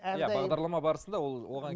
иә бағдарлама барысында ол оған